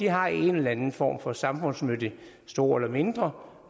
har en eller anden form for samfundsnyttig stor eller mindre